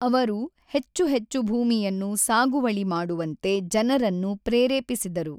ಅವರು ಹೆಚ್ಚು ಹೆಚ್ಚು ಭೂಮಿಯನ್ನು ಸಾಗುವಳಿ ಮಾಡುವಂತೆ ಜನರನ್ನು ಪ್ರೇರೇಪಿಸಿದರು.